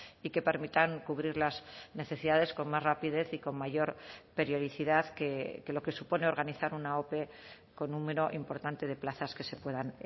y que permitan cubrir las necesidades con más rapidez y con mayor periodicidad que lo que supone organizar una ope con número importante de plazas que se puedan